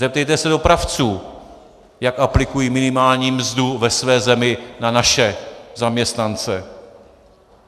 Zeptejte se dopravců, jak aplikují minimální mzdu ve své zemi na naše zaměstnance.